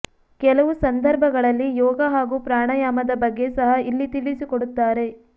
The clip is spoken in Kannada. ಕೆಲವು ಸಂದರ್ಭಗಳಲ್ಲಿ ಯೋಗ ಹಾಗೂ ಪ್ರಾಣಾಯಾಮದ ಬಗ್ಗೆ ಸಹ ಇಲ್ಲಿ ತಿಳಿಸಿಕೊಡುತ್ತಾರೆ